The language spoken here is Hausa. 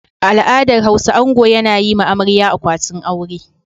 A al'adar Hausa ango yana yi ma amarya akwatin aure.